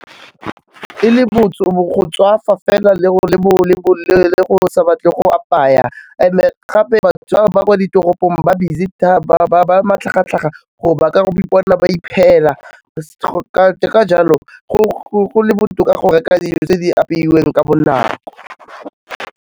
E le go tswafa fela le go sa batle go apaya and-e gape bašwa ba kwa ditoropong ba busy ba matlhagatlhaga gore ba ka go ipona ba ka jalo go le botoka go reka dijo tse di apeilweng ka bonako.